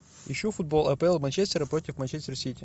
ищу футбол апл манчестера против манчестер сити